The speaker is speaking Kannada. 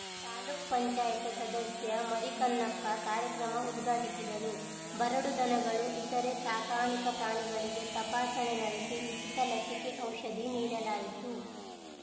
ತಾಲೂಕು ಪಂಚಾಯತಿ ಸದಸ್ಯ ಮರಿಕನ್ನಪ್ಪ ಕಾರ್ಯಕ್ರಮ ಉದ್ಘಾಟಿಸಿದರು ಬರಡು ದನಗಳು ಇತರೇ ಸಾಕಾಣಿಕಾ ಪ್ರಾಣಿಗಳಿಗೆ ತಪಾಸಣೆ ನಡೆಸಿ ಉಚಿತ ಲಸಿಕೆ ಔಷಧಿ ನೀಡಲಾಯಿತು